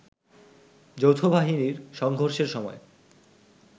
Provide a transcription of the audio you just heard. যৌথবাহিনীর সংঘর্ষের সময়